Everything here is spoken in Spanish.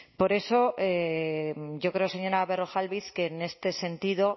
por eso yo creo señora berrojalbiz que en este sentido